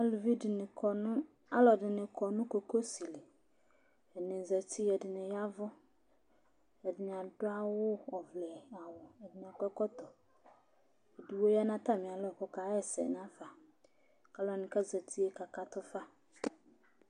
Aluvi dɩnɩ kɔ nʋ, ɔlɔdɩnɩ kɔ nʋ kokosi li Atanɩ zati, ɛdɩnɩ ya ɛvʋ, ɛdɩnɩ adʋ awʋ ɔvlɛ awʋ, ɛdɩnɩ akɔ ɛkɔtɔ Edigbo ya nʋ atamɩalɔ kʋ ɔkaɣa ɛsɛ nafa kʋ alʋ wanɩ kʋ azati yɛ kakatʋ fa